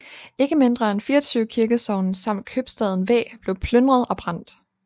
Ikke mindre end 24 kirkesogne samt købstaden Væ blev plyndret og brændt